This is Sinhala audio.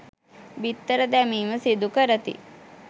බිත්තර දැමීම සිදු කරති.